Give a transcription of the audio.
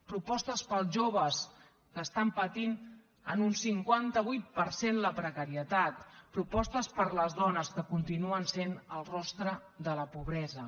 propostes per als joves que estan patint en un cinquanta vuit per cent la precarietat propostes per a les dones que continuen sent el rostre de la pobresa